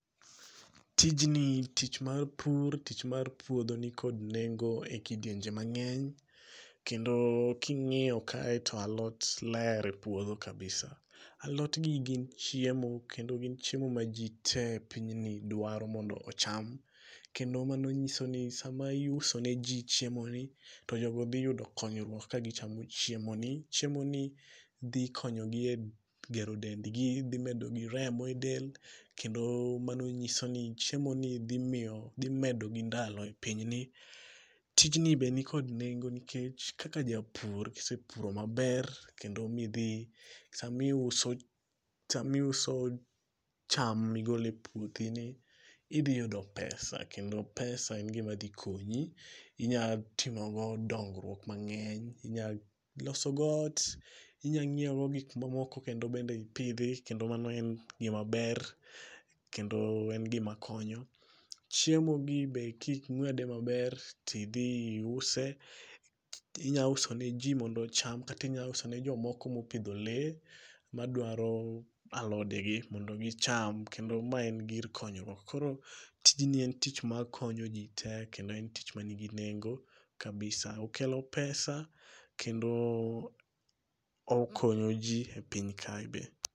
Tijni tich mar pur tich mar puodho nikod nengo ekidienje mang'eny, kendo ka ing'iyo kae to alot ler e puodho kabisa. Alotgi gin chiemo kendo gin chiemo maji tee e pinyni dwaro mondo ocham kendo mano nyiso ni sama iuso neji chiemoni to jogo dhi yudo konyruok kagichamo chiemoni. Chiemoni dhikonyogi e gero dendgi gibedo gi remo e del kendo manonyiso ni chiemoni dhi miyo dhi medo gi ndalo e piny ni. Tijni be nikod nengo nikech kaka ja pur, kisepuro maber kendo ma idhi sama iuso cham sama iuso cham migolo e puothini, idhi yudo pesa kendo pesa en gima dhi konyi. Inyalo timo godo dongruok mang'eny, inyalo losogodo ot, inyalo nyiewo godo gik ma moko kendo be ipidhi kendo mano gima ber kendo en gima konyo. Chiemo gi be ka ing'uede maber to idhi iuse inya uso ne ji mondo ocham kata inyalo uso ne jomoko mopidho lee maduaro alodegi mondo gicham kendo mae en gir konyruok. Koro tijni en tich ma konyo ji tee kendo en tich manigi nengo kabisa. Okelo pesa kendo okonyo ji e piny kae be.